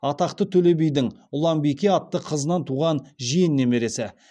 атақты төле бидің ұланбике атты қызынан туған жиен немересі